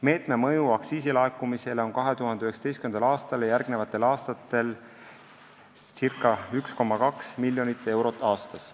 Meetme mõju aktsiisilaekumisele on 2019. aastal ja järgnevatel aastatel circa 1,2 miljonit eurot aastas.